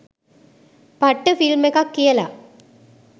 පට්ට ෆිල්ම් එකක් කියල